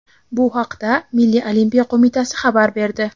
Bu haqda Milliy olimpiya qo‘mitasi xabar berdi.